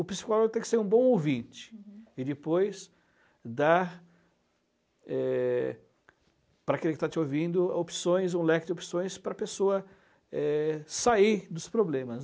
O psicólogo tem que ser um bom ouvinte uhum e depois dar eh para aquele que está te ouvindo opções, um leque de opções para a pessoa eh sair dos problemas.